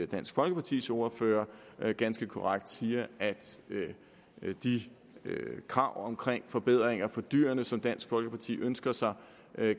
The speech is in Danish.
dansk folkepartis ordfører ganske korrekt siger at de krav omkring forbedringer for dyrene som dansk folkeparti ønsker sig